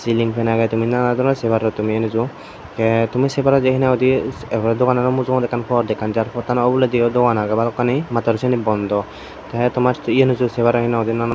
ceiling fan agey tumi nanan doronor se paror tumi enuju te tumi sey paror je hinanghoide er porey doganano mujongeydi pod ekkan jar pottano oholediyo dogan agey balokkani mattor siyeni bondo te tomar ye enuju se paror hinanghoide nanan.